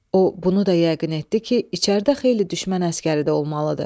O bunu da yəqin etdi ki, içəridə xeyli düşmən əsgəri də olmalıdır.